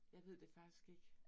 Jeg ved det faktisk ikke